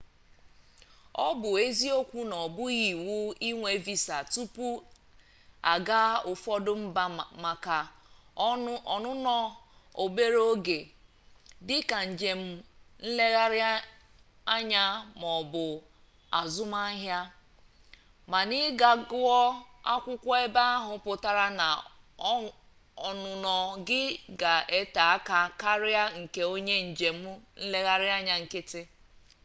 ọ bụ eziokwu na ọ bụghị iwu inwe visa tupu a gaa ụfọdụ mba maka ọnụnọ obere oge dịka njem nlereanya maọbụ azụmahịa mana ịga gụọ akwụkwọ ebe ahụ pụtara na ọnụnọ gị ga-ete aka karịa nke onye njem nlereanya nkịtị